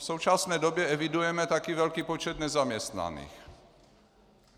V současné době evidujeme také velký počet nezaměstnaných.